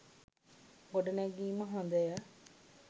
ගොඩනැගීම හොදය.